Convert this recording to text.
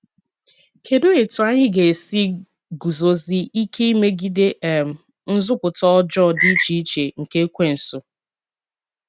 Kedụ etú anyị ga esi ‘ guzosie ike megide um nzupụta ọjọọ dị iche iche nke Ekwensu ’?